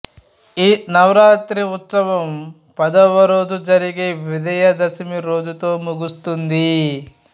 ఈ నవరాత్రి ఉత్సవం పదవరోజు జరిగే విజయదశమి రోజుతో ముగుస్తుంది